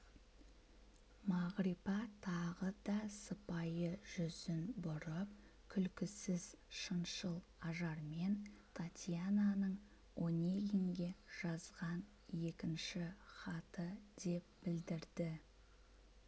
мағрипа тағы да сыпайы жүзін бұрып күлкісіз шыншыл ажармен татьянаның онегинге жазған екінші хаты деп білдірді